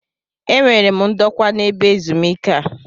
E nwere m ndokwa na-ebe ezumike a.